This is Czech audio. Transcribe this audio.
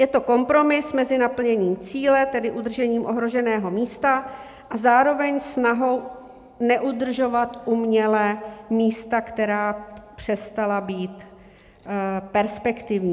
Je to kompromis mezi naplněním cíle, tedy udržením ohroženého místa, a zároveň snahou neudržovat uměle místa, která přestala být perspektivní.